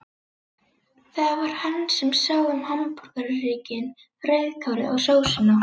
Það var hann sem sá um hamborgarhrygginn, rauðkálið og sósuna.